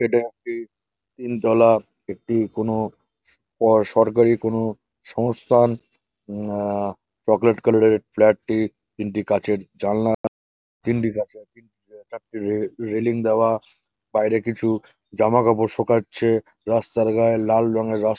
এটা একটি তিন তলা একটি কোনো স সরকারি কোনো সংস্থানউম আআ- চকলেট কালার -এর ফ্লাট -টি তিনটি কাঁচের জানলা তিনটি কাঁচের তিনটি চারটি রে রেলিং দেওয়া বাইরে কিছু জামা কাপড় শোকাচ্ছ। রাস্তার গায়ে লাল রঙের রাস --